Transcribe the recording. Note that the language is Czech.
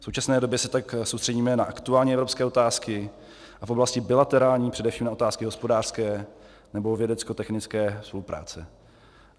V současné době se tak soustředíme na aktuální evropské otázky a v oblasti bilaterální především na otázky hospodářské nebo vědeckotechnické spolupráce.